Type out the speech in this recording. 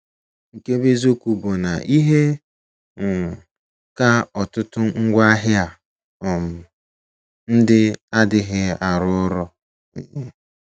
Nke bụ́ eziokwu bụ na ihe um ka ọtụtụ n’ngwaahịa um ndị a adịghị arụ ọrụ. um